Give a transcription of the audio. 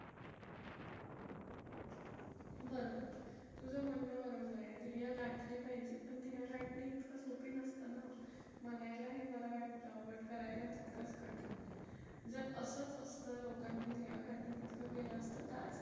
बरोबर, तुझं म्हणणं बरोबर आहे. ध्येय गाठले पाहिजे पण ध्येय गाठणे इतकं सोपी नसतं ना. म्हणायला हे बरं वाटतं, but करायला तितकंच कठीण. जर असंच असतं लोकांनी ध्येय गाठून इतकं केलं असतं तर आज